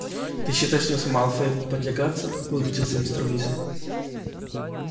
ты считаешь мне с малфоем не потягаться возмутился мистер уизли